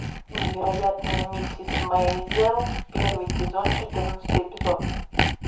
невероятная миссис мейзел первый сезон четырнадцатый эпизод